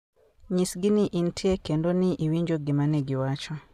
Nyisgi ni intie kendo ni iwinjo gima giwacho.